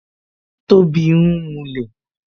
Tobi ń mulẹ̀